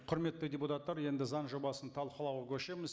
құрметті депутаттар енді заң жобасын талқылауға көшеміз